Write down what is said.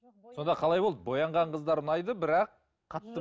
сонда қалай болды боянған қыздар ұнайды бірақ қатты